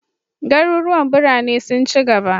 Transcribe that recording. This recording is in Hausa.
Garuruwan birane sun ci gaba.